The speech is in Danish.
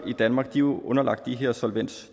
i danmark er jo underlagt de her solvens